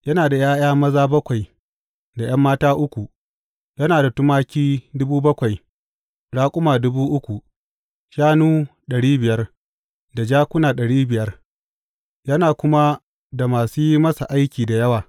Yana da ’ya’ya maza bakwai da ’yan mata uku, yana da tumaki dubu bakwai, raƙuma dubu uku, shanu ɗari biyar, da jakuna ɗari biyar, yana kuma da masu yi masa aiki da yawa.